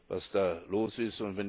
was da los ist.